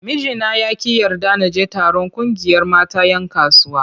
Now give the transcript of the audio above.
Mijina ya ƙi yarda na je taron ƙungiyar mata 'yan kasuwa.